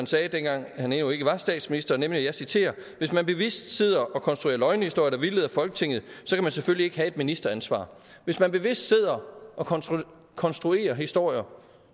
sagde dengang han endnu ikke var statsminister nemlig og jeg citerer hvis man bevidst sidder og konstruerer løgnehistorier der vildleder folketinget så kan man selvfølgelig ikke have et ministeransvar hvis man bevidst sidder og konstruerer konstruerer historier